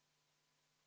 V a h e a e g